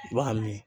I b'a min